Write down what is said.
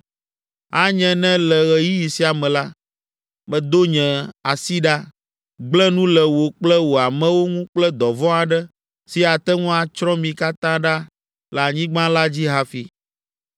Anye ne le ɣeyiɣi sia me la, medo nye asi ɖa, gblẽ nu le wò kple wò amewo ŋu kple dɔvɔ̃ aɖe si ate ŋu atsrɔ̃ mi katã ɖa le anyigba la dzi hafi.